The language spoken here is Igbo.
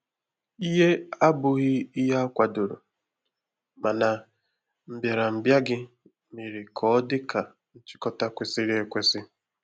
ìhé abụghị ìhè akwadoro mana mbịarambịa gị mere ka ọ dị ka nchịkọta kwesịrị ekwesị.